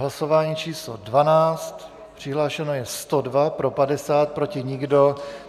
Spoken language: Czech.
Hlasování číslo 12, přihlášeno je 102, pro 50, proti nikdo.